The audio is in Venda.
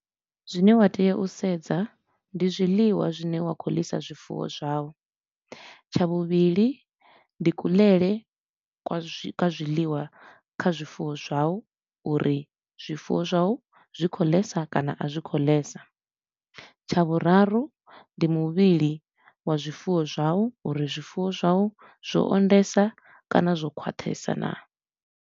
Zwine wa tea u sedza ndi zwiḽiwa zwine wa khou ḽisa zwifuwo zwau. Tsha vhuvhili ndi kuḽele kwa zwi ka zwiḽiwa kha zwifuwo zwau uri zwifuwo zwau zwi khou ḽesa kana a zwi khou ḽesa. Tsha vhuraru ndi muvhili wa zwifuwo zwau uri zwifuwo zwau zwo o ondesa kana zwo khwaṱhesa naa?